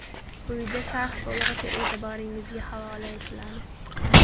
Quyida sharh to‘lig‘icha e’tiboringizga havola etiladi.